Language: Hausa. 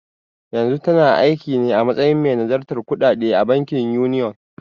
Yanzu tana aikine a matsayin mai nazartar kuɗaɗe a bankin Union.